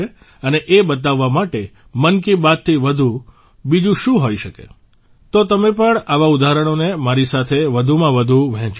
અને એ બતાવવા માટે મન કી બાત થી વધુ બીજું શું હોઇ શકે તો તમે પણ આવા ઉદાહરણોને મારી સાથે વધુમાં વધુ વહેંચો